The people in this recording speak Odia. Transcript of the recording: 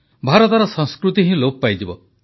ଭାରତର ସଂସ୍କୃତି ହିଁ ଲୋପ ପାଇଯିବ